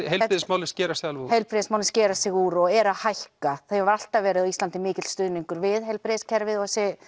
heilbrigðismálin skera sig alveg úr já heilbrigðismálin skera sig alveg úr og eru að hækka það hefur alltaf verið á Íslandi mikill stuðningur við heilbrigðiskerfið